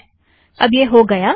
तो अब यह हो गया